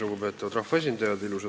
Lugupeetavad rahvaesindajad!